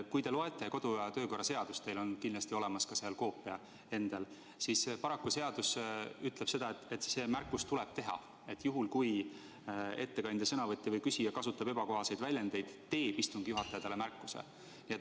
Kui loete kodu- ja töökorra seadust, teil on kindlasti seal koopia olemas, siis näete, et paraku ütleb seadus, et selline märkus tuleb teha: "Kui ettekandja, sõnavõtja või küsija kasutab ebakohaseid väljendeid, teeb istungi juhataja talle märkuse.